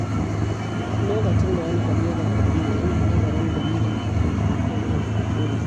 Lokacin da wani abu ya gagarare ni, ina nazarin dalilin hakan maimakon yin ƙorafi.